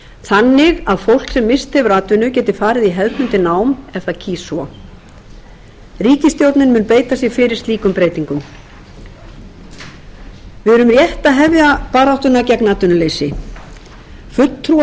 þannig að fólk sem misst hefur atvinnu geti farið í hefðbundið nám ef það kýs svo ríkisstjórnin mun beita sér fyrir slíkum breytingum við erum rétt að hefja baráttuna gegn atvinnuleysi fulltrúar